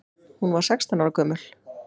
Hún var sextán ára gömul.